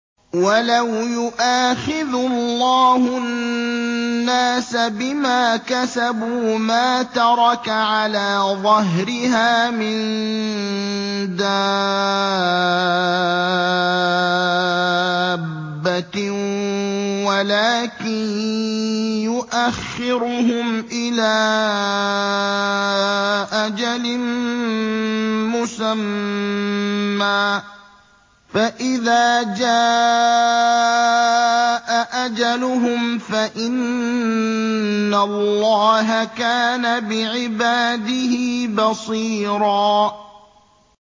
وَلَوْ يُؤَاخِذُ اللَّهُ النَّاسَ بِمَا كَسَبُوا مَا تَرَكَ عَلَىٰ ظَهْرِهَا مِن دَابَّةٍ وَلَٰكِن يُؤَخِّرُهُمْ إِلَىٰ أَجَلٍ مُّسَمًّى ۖ فَإِذَا جَاءَ أَجَلُهُمْ فَإِنَّ اللَّهَ كَانَ بِعِبَادِهِ بَصِيرًا